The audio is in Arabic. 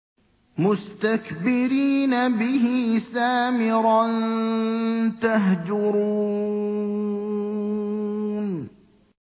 مُسْتَكْبِرِينَ بِهِ سَامِرًا تَهْجُرُونَ